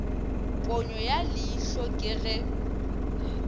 ponyo ya leihlo ke ge